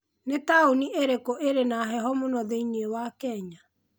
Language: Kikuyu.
Nĩ taũni ĩrĩkũ ĩrĩ na heho mũno thĩinĩ wa Kenya?